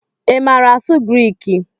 I maara asụ Griik?